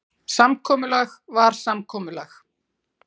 Samkomulag var samkomulag.